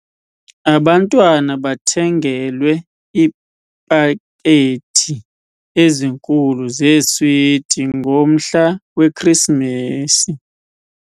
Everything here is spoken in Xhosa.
Abantwana bathengelwe iipakethi ezinkulu zeeswiti ngomhla weKrisimesi.